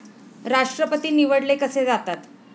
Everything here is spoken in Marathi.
राष्ट्रपती निवडले कसे जातात?